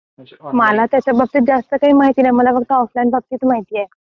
मला त्याच्या बाबतीत जास्त काही माहिती नाही मला फक्त ऑफलाइन बाबतीत माहिती आहे.